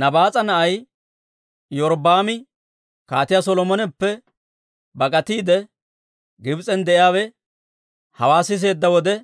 Nabaas'a na'ay Iyorbbaami, Kaatiyaa Solomoneppe bak'atiide Gibs'en de'iyaawe hawaa siseedda wode,